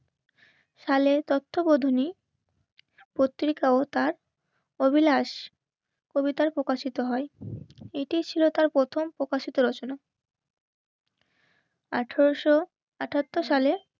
তাহলে তত্ত্বাবধানে অত্রিকা ও তার অভিলাস. কবিতায় প্রকাশিত হয় এটি ছিল তার প্রথম প্রকাশিত রচনা. আঠারোশো আটাত্তর সালে